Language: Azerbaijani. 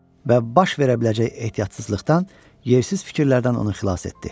Və baş verə biləcək ehtiyatsızlıqdan, yersiz fikirlərdən onu xilas etdi.